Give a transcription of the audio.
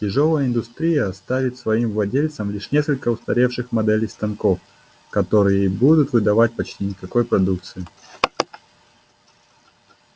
тяжёлая индустрия оставит своим владельцам лишь несколько устаревших моделей станков которые и будут выдавать почти никакой продукции